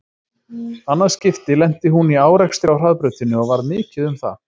Annað skipti lenti hún í árekstri á hraðbrautinni og varð mikið um það.